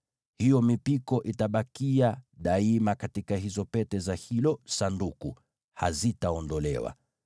Hiyo mipiko itabakia daima katika hizo pete za hilo Sanduku; haitaondolewa.